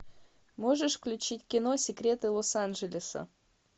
можешь включить кино секреты лос анджелеса